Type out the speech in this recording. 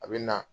A bɛ na